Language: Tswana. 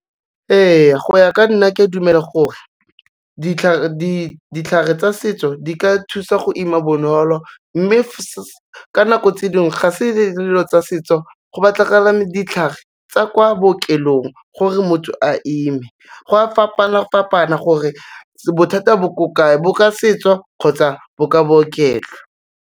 Ee, go ya ka nna ke a dumela gore, ditlhare tsa setso di ka thusa go ima bonolo, mme ka nako tse dingwe ga se dilo tsa setso go batlagala ditlhare tsa kwa bookelong gore motho a ime, go a fapana-fapana gore bothata bo ko kae, bo ka setso kgotsa bo ka bookelo.